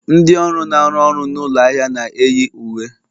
Ndị ọrụ na-arụ ọrụ n'ụlọ ahịa na-eyi uwe